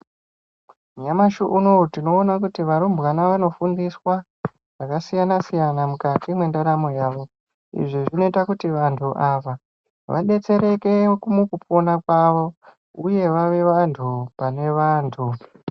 Nyamashi unonouyu tinoona kuti varumbwana vanofundiswa zvakasiyana siyana mukati mendaramo yavo izvi zvinoita kuti vantu ava vadetsereke mukupona kwavo uye vave vantu pane vantu.